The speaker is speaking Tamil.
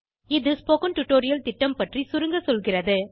இது ஸ்போகன் டுடோரியல் திட்டம் பற்றி சுருங்கசொல்கிறது